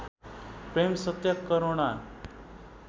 प्रेम सत्य करुणा